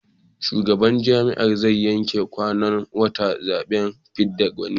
Shugaban jam'iyyar zai yanke kwanan watan zaɓen fidda gwani.